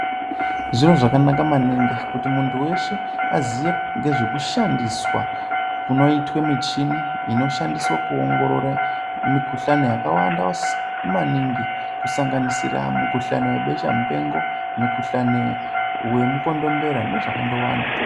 Zviro zvakanaka maningi kuti muntu weshe aziye ngezvekushandiswa kunoitwe muchini inoshandiswe kuongorore mukuhlani yakawanda simaningi kusanganisira mukuhlani webesha mupengo mikuhlani wemukondombera nezvakandowanda.